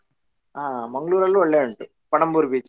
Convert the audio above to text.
ಆ Mangalore ಅಲ್ಲೂ ಒಳ್ಳೆ ಉಂಟು Panambur beach .